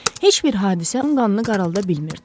Heç bir hadisə onun qanını qaralda bilmirdi.